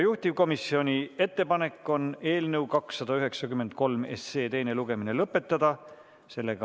Juhtivkomisjoni ettepanek on eelnõu 293 teine lugemine lõpetada.